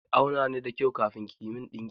Ki auna ni da kyau kafin ki min ɗinki!